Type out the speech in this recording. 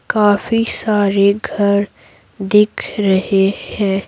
काफी सारे घर दिख रहे हैं।